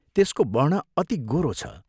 त्यसको वर्ण अति गोरो छ।